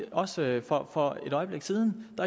også for for et øjeblik siden at